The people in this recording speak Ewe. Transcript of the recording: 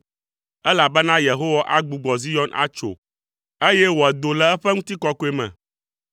Elabena Yehowa agbugbɔ Zion atso, eye wòado le eƒe ŋutikɔkɔe me.